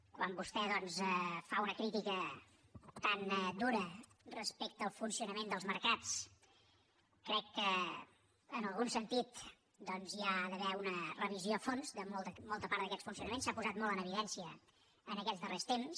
quan vostè doncs fa una crítica tan dura respecte al funcionament dels mercats crec que en algun sentit doncs hi ha d’haver una revisió a fons de molta part d’aquests funcionaments s’ha posat molt en evidència aquests darrers temps